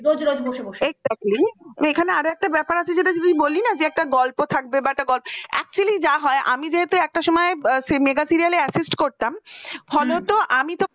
এখানে আরো একটা ব্যাপার আছে যদি বললি না যে একটা গল্প থাকবে বা একটা গ actually যা হয় আমি যেহেতু একটা cinema য় ব mega serial artist করতাম, আমি তো